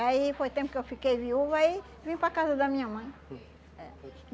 Aí foi tempo que eu fiquei viúva e vim para a casa da minha mãe.